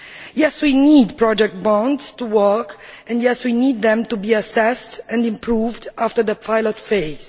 Yes, we need project bonds to work and, yes, we need them to be assessed and improved after their pilot phase.